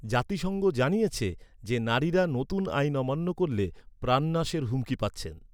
জাতিসংঘ জানিয়েছে যে নারীরা নতুন আইন অমান্য করলে প্রাণনাশের হুমকি পাচ্ছেন।